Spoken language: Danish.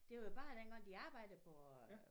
Det var jo bare dengang de arbejdede på